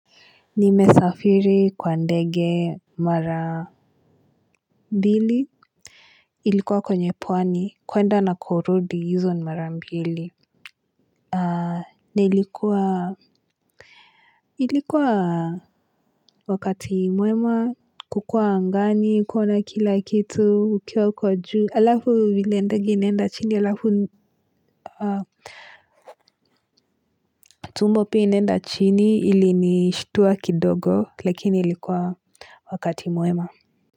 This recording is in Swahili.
Nimesafiri kwa ndege mara Bili. Ilikuwa kwenye pwani kwenda na kurodi izo mara mbili. Haa nilikuwa ilikuwa wakati mwema kukua angani kuona kila kitu ukiwa uko juu alafu vile ndege inenda chini alafu tumbo pia inenda chini ili nishituwa kidogo lakini ilikuwa wakati mwema.